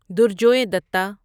درجوے دتہ